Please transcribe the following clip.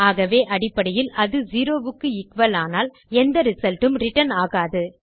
ஆகவே அடிப்படையில் அது 0 க்கு எக்குவல் ஆனால் எந்த ரிசல்ட் உம் ரிட்டர்ன் ஆகாது